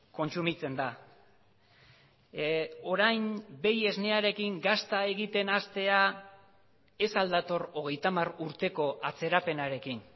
kontsumitzen da orain behi esnearekin gazta egiten hastea ez al dator hogeita hamar urteko atzerapenarekin